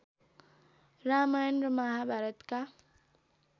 रामायण र महाभारतका